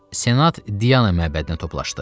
Senat Diana məbədinə toplandı.